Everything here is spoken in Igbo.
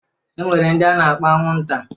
E nwere ndị a na-akpọ anwụnta.